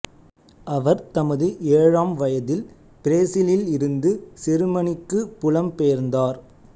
அவர் தமது ஏழாம் வயதில் பிரேசிலில் இருந்து செருமனிக்குப் புலம் பெயர்ந்தார்